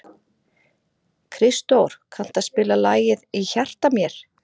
Kristdór, kanntu að spila lagið „Í hjarta mér“?